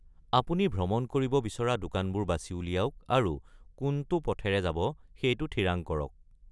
আপুনি ভ্ৰমণ কৰিব বিচৰা দোকানবোৰ বাচি উলিয়াওক আৰু কোনটো পথেৰে যাব সেইটো থিৰাং কৰক।